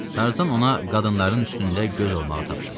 Tarzan ona qadınların üstündə göz olmağı tapşırmışdı.